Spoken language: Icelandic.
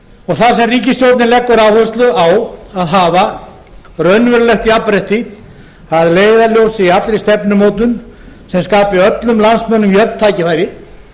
þar sem ríkisstjórnin leggur áherslu á að hafa raunverulegt jafnrétti að leiðarljósi í allri stefnumótun sem skapi öllum landsmönnum jöfn tækifæri